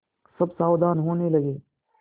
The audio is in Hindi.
सब सावधान होने लगे